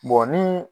ni